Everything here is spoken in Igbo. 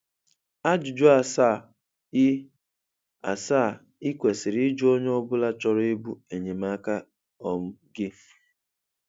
Ajụjụ asaa ị asaa ị kwesịrị ịjụ onye ọ bụla chọrọ ịbụ enyemaka um gị